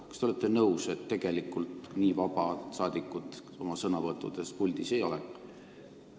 Kas te olete nõus, et tegelikult nii vabad rahvasaadikud oma sõnavõttudes siin puldis ei ole?